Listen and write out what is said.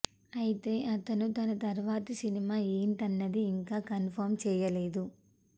ఐతే అతను తన తర్వాతి సినిమా ఏంటన్నది ఇంకా కన్ఫమ్ చేయలేదు